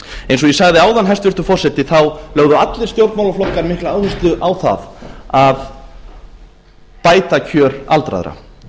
eins og ég sagði áðan hæstvirtur forseti þá lögðu allir stjórnmálaflokka mikla áherslu á það að bæta kjör aldraðra